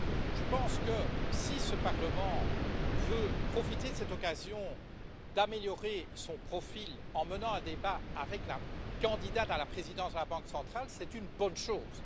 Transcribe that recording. Je pense que, si ce Parlement veut profiter de cette occasion pour améliorer son profil en menant un débat avec la candidate à la présidence de la Banque centrale, c'est une bonne chose.